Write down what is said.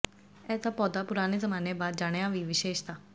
ਇਸ ਦਾ ਪੌਦਾ ਪੁਰਾਣੇ ਜ਼ਮਾਨੇ ਬਾਅਦ ਜਾਣਿਆ ਦੀ ਵਿਸ਼ੇਸ਼ਤਾ